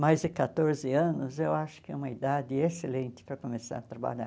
Mais de quatorze anos, eu acho que é uma idade excelente para começar a trabalhar.